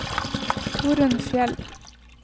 Torunn Fjeld